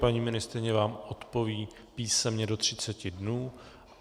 Paní ministryně vám odpoví písemně do 30 dnů.